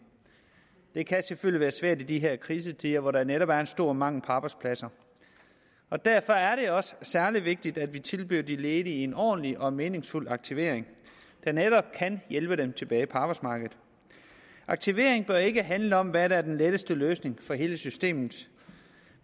det kan selvfølgelig være svært i de her krisetider hvor der netop er en stor mangel på arbejdspladser derfor er det jo også særlig vigtigt at vi tilbyder de ledige en ordentlig og meningsfuld aktivering der netop kan hjælpe dem tilbage på arbejdsmarkedet aktivering bør ikke handle om hvad der er den letteste løsning for hele systemet